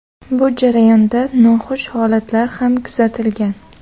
Bu jarayonda noxush holatlar ham kuzatilgan .